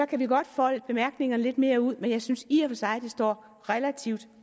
kan vi godt folde bemærkningerne lidt mere ud men jeg synes i og for sig at det står relativt